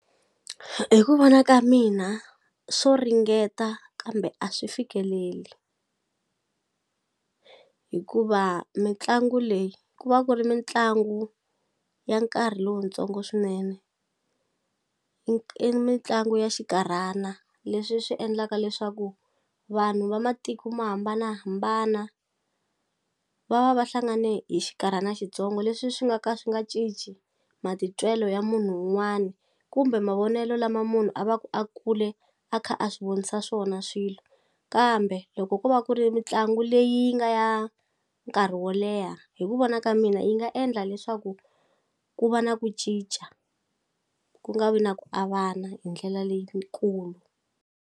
Hi ku vona ka mina swo ringeta kambe a swi fikeleli hikuva mitlangu leyi ku va ku ri mitlangu ya nkarhi lowutsongo swinene i mitlangu ya xikarhana leswi swi endlaka leswaku vanhu va matiko mo hambanahambana va va va hlangane hi xikarhana xitsongo leswi swi nga ka swi nga cinci matitwelo ya munhu un'wani kumbe mavonelo lama munhu a va ku a kule a kha a swi vonisa swona swilo kambe loko ko va ku ri mitlangu leyi nga ya nkarhi wo leha hi ku vona ka mina yi nga endla leswaku ku va na ku cinca ku nga vi na ku avana hi ndlela leyikulu.